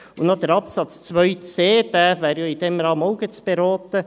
Und noch Absatz 2c, Buchstabe c: Dieser wäre ja in diesem Rahmen auch gleich zu beraten.